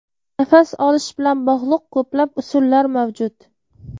Nafas olish bilan bog‘liq ko‘plab usullar mavjud.